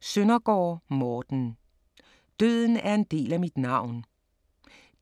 Søndergaard, Morten: Døden er en del af mit navn